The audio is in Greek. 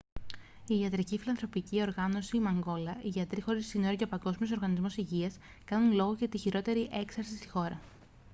η ιατρική φιλανθρωπική οργάνωση μανγκόλα οι γιατροί χωρίς σύνορα και ο παγκόσμιος οργανισμός υγείας κάνουν λόγο για τη χειρότερη έξαρση στη χώρα